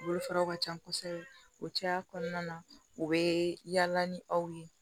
Bolofaraw ka ca kosɛbɛ o caya kɔnɔna na u bɛ yaala ni aw ye